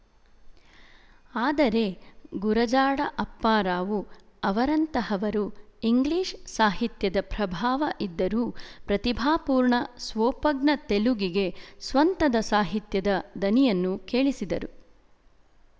ಆದರೆ ಗುರಜಾಡ ಅಪ್ಪಾರಾವು ಅವರಂತಹವರು ಇಂಗ್ಲಿಶ ಸಾಹಿತ್ಯದ ಪ್ರಭಾವ ಇದ್ದರೂ ಪ್ರತಿಭಾಪೂರ್ಣ ಸ್ವೋಪಜ್ಞ ತೆಲುಗಿಗೆ ಸ್ವಂತದ ಸಾಹಿತ್ಯದ ದನಿಯನ್ನು ಕೇಳಿಸಿದರು